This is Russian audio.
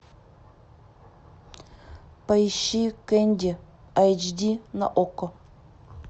поищи кенди айч ди на окко